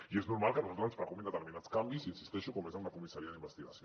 i és normal que a nosaltres ens preocupin determinats canvis hi insisteixo com és en la comissaria d’investigació